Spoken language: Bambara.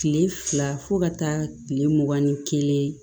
Kile fila fo ka taa kile mugan ni kelen